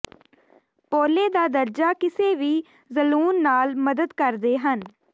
ਪੋਲੇ ਦਾ ਦਰਜਾ ਕਿਸੇ ਵੀ ਜਲੂਣ ਨਾਲ ਮਦਦ ਕਰਦੇ ਹਨ